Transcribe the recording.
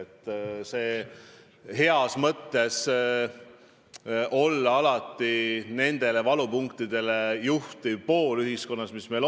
Opositsioon võiks olla ühiskonna valupunktidele heas mõttes tähelepanu juhtiv pool.